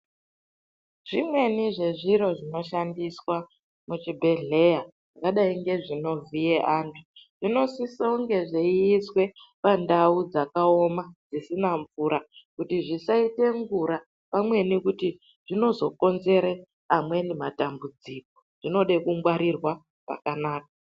Zvimweni zvezviro zvinoshandiswa muzvibhedhlera zvakadai ngezvinovhiya antu zvinosisa kunge zveiswa pandau dzakaoma dzisina mvura kuti zvisaita ngura pamwnei zvinozokonzera amweni matambudziko zvinoda kungwarirwa pakanaka.